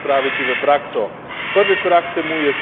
A vse to bo treba čim prej spraviti v prakso.